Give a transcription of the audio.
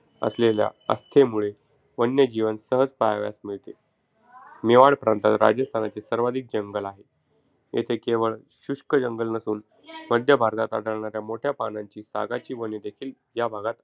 असलेल्या आस्थेमुळे वन्यजीवन सहज पहावयास मिळते. मेवाड प्रांतात राजस्थानचे सर्वाधिक जंगल आहे. येथे केवळ शुष्क जंगल नसून मध्य भारतात आढळणाऱ्या मोठ्या पानांची सागाची वनेदेखील या भागात,